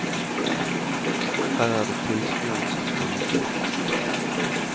Her er det tilskueren som får vite minst.